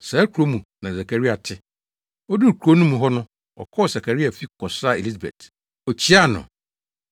Saa kurow no mu na Sakaria te. Oduu kurow no mu hɔ no, ɔkɔɔ Sakaria fi kɔsraa Elisabet. Okyiaa no.